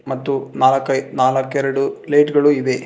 ಮತ್ತು ನಾಲ್ಕೈದ್ ನಾಲ್ಕ್ ಎರಡು ಲೈಟ್ ಗಳು ಇವೆ.